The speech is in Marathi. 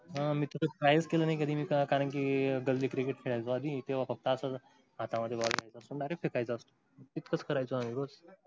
हा मी कायीच केलो नाही कधी मी तर कारण कि गल्ली क्रिकेट खेळाल्तो आणि तेव्हा पप्पाच हाथा मधे बाल मिळाल्त. direct फेकाय्त असतो ती तसच करायचं उगच.